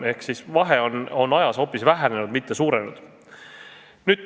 Ehk siis vahe on ajas hoopis vähenenud, mitte suurenenud.